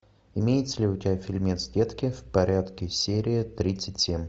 имеется ли у тебя фильмец детки в порядке серия тридцать семь